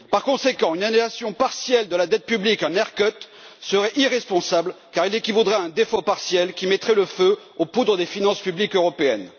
Par conséquent, une annulation partielle de la dette publique, un haircut serait irresponsable car elle équivaudrait à un défaut partiel qui mettrait le feu aux poudres des finances publiques européennes.